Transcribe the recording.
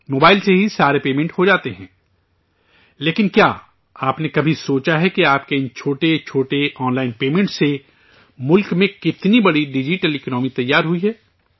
mobile سے ہی سارے پیمنٹ ہو جاتے ہیں، لیکن، کیا آپ نے کبھی سوچا ہے کہ آپ کے ان چھوٹے چھوٹے آن لائن پیمنٹ سے ملک میں کتنی بڑی ڈیجیٹل اکنامی تیار ہوئی ہے